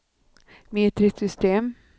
metriskt system